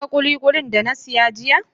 Ka gan kulikuli da na saya jiya?